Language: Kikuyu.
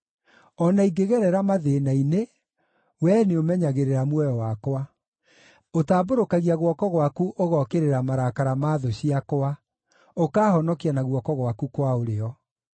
O na ingĩgerera mathĩĩna-inĩ, Wee nĩũmenyagĩrĩra muoyo wakwa; ũtambũrũkagia guoko gwaku ũgookĩrĩra marakara ma thũ ciakwa, ũkaahonokia na guoko gwaku kwa ũrĩo.